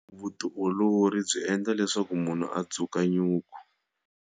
Vutiolori byi endla munhu a dzuka nyuku.